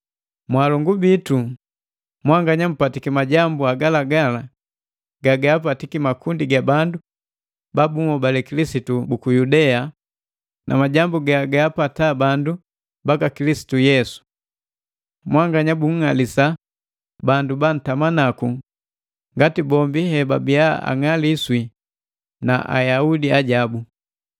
Mwaalongu bitu, mwanganya mpatiki majambu hagalagala gagaapatiki makundi ga bandu babunhobale Kilisitu buku Yudea, majambu gagaapata bandu baka Kilisitu Yesu. Mwanganya bunng'alisa bandu bantama naku ngati bombi hebabia ang'aliswi na Ayaudi ajabu,